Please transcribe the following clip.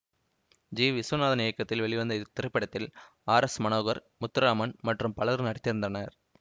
G Viswanathan இயக்கத்தில் வெளிவந்த இத்திரைப்படத்தில் ஆர் எஸ் மனோகர் முத்துராமன் மற்றும் பலரும் நடித்திருந்தனர்